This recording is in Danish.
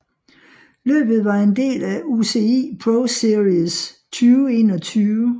Løbet var en del af UCI ProSeries 2021